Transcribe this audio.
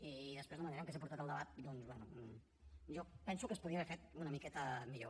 i després la manera en què s’ha portat el debat doncs bé jo penso que es podia haver fet una miqueta millor